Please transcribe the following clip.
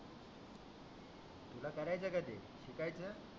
तुला करायच का ते शिकायच